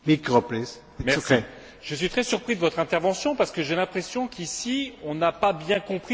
Je suis très surpris de votre intervention parce que j'ai l'impression qu'ici on n'a pas bien compris ce qu'était ce marché carbone.